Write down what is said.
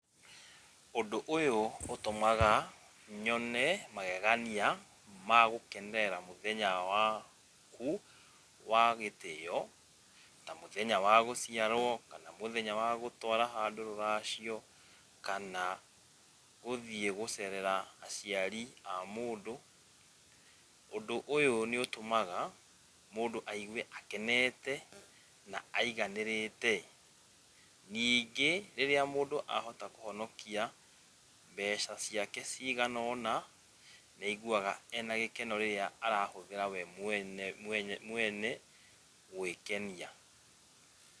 Ũndũ ũyũ ũtũmaga nyone magegania ma gũkenerera mũthenya waku wa gĩtĩo, ta mũthenya wa gũciarwo, kana mũthenya wa gũtwara handũ rũracio, kana gũthiĩ gũcerera aciari a mũndũ. Ũndũ ũyũ nĩ ũtũmaga mũndũ aigwe akenete, na aiganĩrĩte. Ningĩ rĩrĩa mũndũ ahota kũhonokia mbeca ciake cigana ona, nĩ aiguaga ena gĩkeno rĩrĩa arahũthĩra we mwene mwene, mwene gwĩkenia.